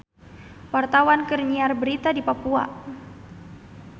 Wartawan keur nyiar berita di Papua